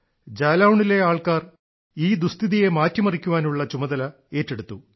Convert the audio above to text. ജാലൌണിലെ ജനങ്ങൾ ഈ ദുഃസ്ഥിതിയെ മാറ്റിമറിക്കാനുള്ള ചുമതല ഏറ്റെടുത്തു